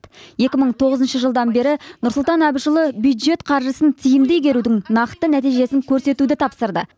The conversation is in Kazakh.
екі мың тоғызыншы жылдан бері нұрсұлтан әбішұлы бюджет қаржысын тиімді игерудің нақты нәтижесін көрсетуді тапсырды